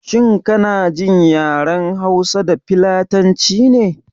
Shin kana jin yaren hausa da filatanci ne?